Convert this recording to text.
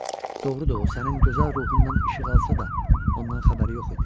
Doğrudur, o sənin gözəl ruhundan işıq alsa da, ondan xəbəri yox idi.